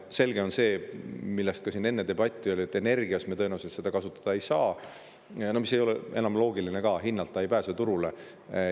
Selge on see, selle üle ka siin enne debatt oli, et me tõenäoliselt seda kasutada ei saa, see ei oleks enam loogiline ka, hinna tõttu ei pääse turule.